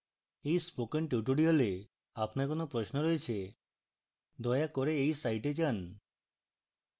এই spoken tutorial আপনার কোন প্রশ্ন রয়েছে দয়া করে এই site যান